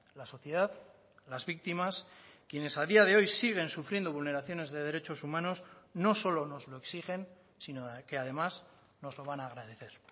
la sociedad las víctimas quienes a día de hoy siguen sufriendo vulneraciones de derechos humanos no solo nos lo exigen sino que además nos lo van a agradecer